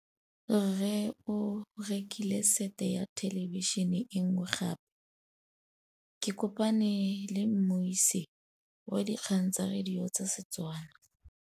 Rre o rekile sete ya thêlêbišênê e nngwe gape. Ke kopane mmuisi w dikgang tsa radio tsa Setswana.